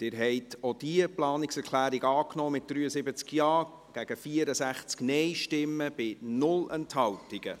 Sie haben auch diese Planungserklärung angenommen, mit 73 Ja- gegen 64 Nein-Stimmen bei 0 Enthaltungen.